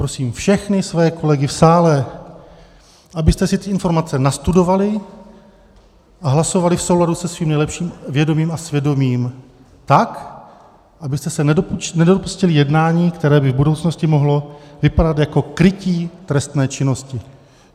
Prosím všechny své kolegy v sále, abyste si ty informace nastudovali a hlasovali v souladu se svým lepším vědomím a svědomím tak, abyste se nedopustili jednání, které by v budoucnosti mohlo vypadat jako krytí trestné činnosti.